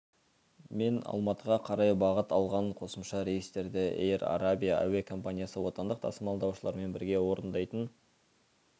мен алматыға қарай бағыт алған қосымша рейстерді эйр арабия әуе компаниясы отандық тасымалдаушылармен бірге орындайтын